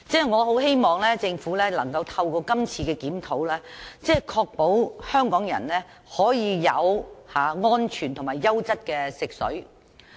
我希望政府能夠透過今次的修訂，確保香港人可以有安全及優質的食水。